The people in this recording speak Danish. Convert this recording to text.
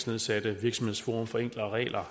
nedsatte virksomhedsforum for enklere regler